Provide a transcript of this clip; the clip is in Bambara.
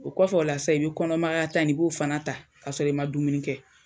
O KɔFɛ o la sisan i bɛ kɔnɔ magayata ni i b'o fana ta k'a sɔrɔ i ma dumuni kɛ.